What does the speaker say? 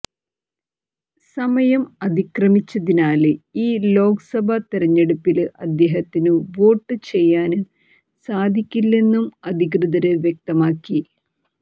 സമയം അതിക്രമിച്ചതിനാല് ഈ ലോക്സഭ തെരഞ്ഞെടുപ്പില് അദ്ദേഹത്തിന് വോട്ട് ചെയ്യാന് സാധിക്കില്ലെന്നും അധികൃതര് വ്യക്തമാക്കി